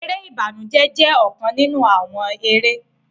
Eré ìbànújẹ jẹ ọkan ninu awọn eré.